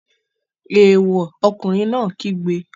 Èèwọ̀! Ọkùnrin náà kígbe.